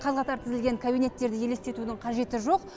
қаз қатар тізілген кабинеттерді елестетудің қажеті жоқ